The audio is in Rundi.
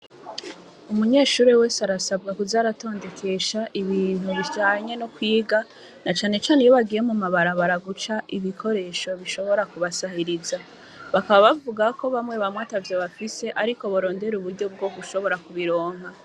Umunyeshuri wese arasabwa kuzaratondekesha ibintu bishanye no kwiga na canecane yibagiye mu mabara bara guca ibikoresho bishobora kubasahiriza bakaba bavuga ko bamwe bamweatavye bafise, ariko borondere uburyo bwo gushobora kubironka.